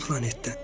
Hansı planetdən?